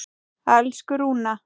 Elsku Rúna.